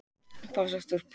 Hvað stendur upp úr?